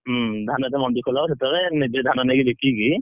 ମଣ୍ଡିକି ହୁଁ ଧାନ ଯେତେବେଳେ ମଣ୍ଡି ଖୋଲା ହବ ସେତେବେଳେ ନିଜେ ଧାନ ନେଇକି ବିକି କି।